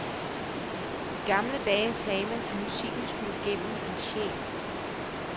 I gamle dage sagde man, at musikken skulle gennem en sjæl.